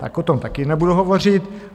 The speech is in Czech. Tak o tom taky nebudu hovořit.